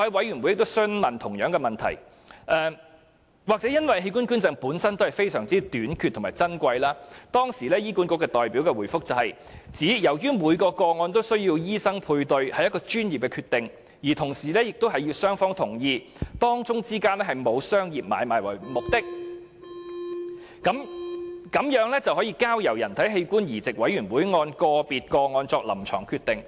也許由於器官捐贈本身是相當短缺和珍貴的安排，當時的醫管局代表答稱，每宗個案均需要由醫生配對，屬於專業決定，同時亦需要雙方同意。因此，只要不含商業買賣的目的，便可交由人體器官移植委員會按個別個案作出臨床決定。